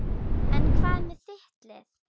En hvað með þitt lið?